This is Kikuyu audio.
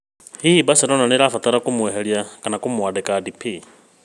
Hihi Barcelona nĩ marabatara kũmweheria kana kũmwandĩka Depay?